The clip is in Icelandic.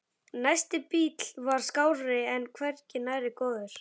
Næsti bíll var skárri en hvergi nærri góður.